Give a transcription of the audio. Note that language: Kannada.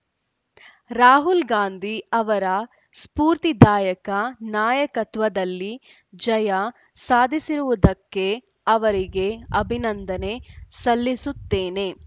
ರಾಹುಲ್‌ಗಾಂಧಿ ಅವರ ಸ್ಫೂರ್ತಿದಾಯಕ ನಾಯಕತ್ವದಲ್ಲಿ ಜಯ ಸಾಧಿಸಿರುವುದಕ್ಕೆ ಅವರಿಗೆ ಅಭಿನಂದನೆ ಸಲ್ಲಿಸುತ್ತೇನೆ